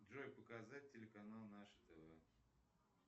джой показать телеканал наше тв